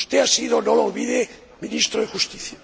Usted ha sido, no lo olvide, Ministro de Justicia.